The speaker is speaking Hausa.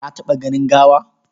Ka taɓa ganin gawa?